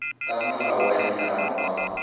ka molao wa ditlamo wa